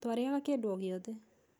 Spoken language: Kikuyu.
Twarĩaga kĩndũ o gĩothe.